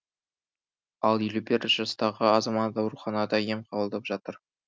ал елу бір жастағы азамат ауруханада ем қабылдап жатыр